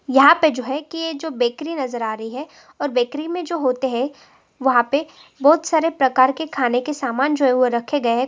यहाँ पे जो हैं के जो बेकरी नजर आ रही हैं और बेकरी मई जो होते है वह पे बोहोत सरे प्रकार के खाने के सामान जो है रखे गए है।